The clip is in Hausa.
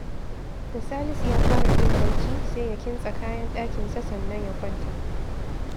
Da Salisu ya fara jin barci, sai ya kintsa kayan ɗakinsa sannan ya kwanta